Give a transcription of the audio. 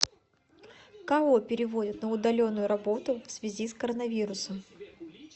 кого переводят на удаленную работу в связи с коронавирусом